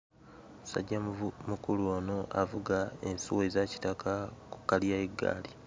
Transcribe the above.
Musajja muvu mukulu ono avuga ensuwa eza kitaka ku kkaliya y'eggaali.